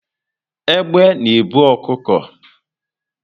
Egbe na ebu ọkụkọ